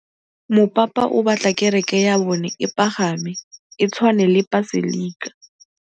Mopapa o batla kereke ya bone e pagame, e tshwane le paselika.